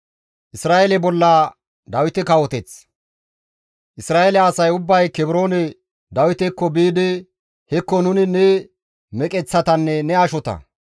Isra7eele asay ubbay Kebroone Dawitekko biidi, «Hekko nuni ne meqeththatanne ne ashota.